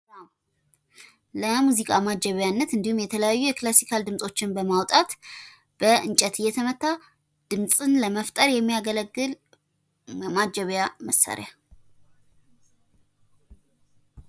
ለሙዚቃ ማጀቢያነት እንዲሁም የተለያዩ የክላሲካል ድምጾችን በማዉጣት ፤ በእንጨት እይተመታ ድምጽን ለመፍጠር የሚያገለግል ማጀቢያ መሳሪያ።